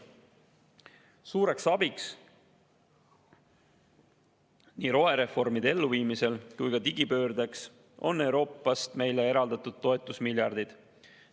Suureks abiks nii rohereformide kui ka digipöörde elluviimisel on Euroopast meile eraldatud toetusmiljardid.